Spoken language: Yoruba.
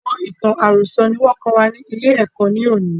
Àwọn ìtàn àròsọ̀ ni wọn kọ́ wa ni ilé ẹ̀kọ́ ni òní.